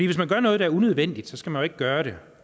hvis man gør noget der er unødvendigt skal man ikke gøre det